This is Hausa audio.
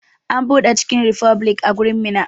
An buɗe chicken republic a garin Minna.